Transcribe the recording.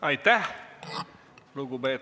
Aitäh!